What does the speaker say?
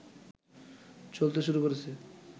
চলতে শুরু করেছে